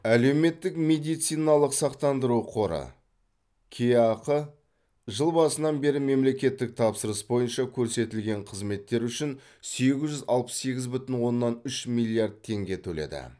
әлеуметтік медициналық сақтандыру қоры кеақ жыл басынан бері мемлекеттік тапсырыс бойынша көрсетілген қызметтер үшін сегіз жүз алпыс сегіз бүтін оннан үш миллиард теңге төледі